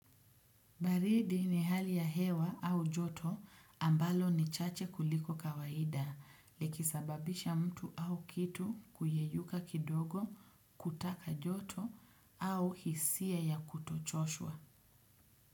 Baridi ni hali ya hewa au joto ambalo ni chache kuliko kawaida likisababisha mtu au kitu kuyeyuka kidogo kutaka joto au hisia ya kutochoshwa.